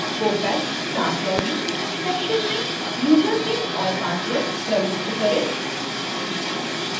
opac/staff login section में username और password प्रविष्ट करें